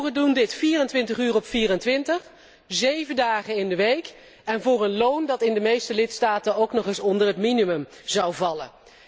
Boeren doen dit 24 uur op 24, zeven dagen in de week, en voor een loon dat in de meeste lidstaten ook nog eens onder het minimum zou vallen.